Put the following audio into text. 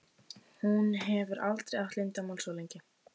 Hún hefur aldrei átt leyndarmál svo lengi.